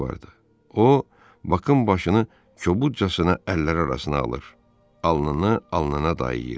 O, Bakın başını kobudcasına əlləri arasına alır, alnını alnına dayıyır.